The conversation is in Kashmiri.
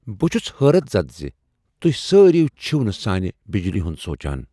بہٕ چُھس حٲرت زَد زِ توہۍ سٲری چھِو نہٕ سانہِ بجلی ہُند سوچان۔